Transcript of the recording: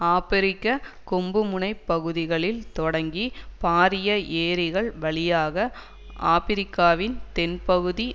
ஆபிரிக்க கொம்பு முனை பகுதிகளில் தொடங்கி பாரிய ஏரிகள் வழியாக ஆபிரிக்காவின் தென்பகுதி